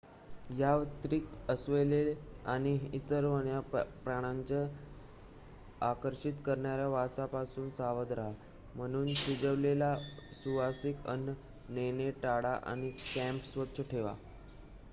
याव्यतिरिक्त अस्वले आणि इतर वन्य प्राण्यांना आकर्षित करणाऱ्या वासापासून सावध रहा म्हणून शिजवलेले सुवासिक अन्न नेणे टाळा आणि कॅम्प स्वच्छ ठेवा